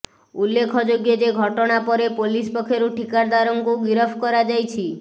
ଉଲ୍ଲେଖଯୋଗ୍ୟ ଯେ ଘଟଣା ପରେ ପୋଲିସ୍ ପକ୍ଷରୁ ଠିକାଦାରଙ୍କୁ ଗିରଫ କରାଯାଇଛି